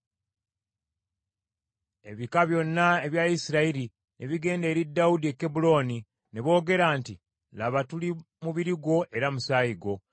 Ebika byonna ebya Isirayiri ne bigenda eri Dawudi e Kebbulooni, ne boogera nti, “Laba, tuli mubiri gwo era musaayi gwo.